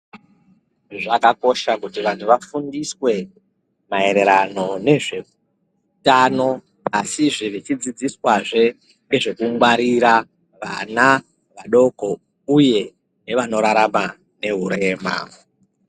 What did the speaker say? Zvakakosha kuti vantu vafundiswe maererano ngezveutano asi zve vachidzidziswazve ngezve kungwarira vana vadoko uye nevanorarama nehurema.